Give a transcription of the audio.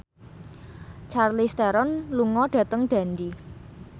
Charlize Theron lunga dhateng Dundee